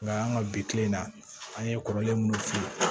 Nka an ka bi kile in na an ye kɔrɔlen minnu f'i ye